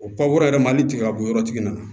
O pankurun yɛrɛ mali tigɛ ka bɔ yɔrɔ tigi nana